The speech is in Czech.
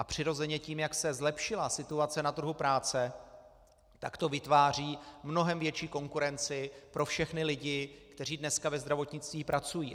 A přirozeně tím, jak se zlepšila situace na trhu práce, tak to vytváří mnohem větší konkurenci pro všechny lidi, kteří dneska ve zdravotnictví pracují.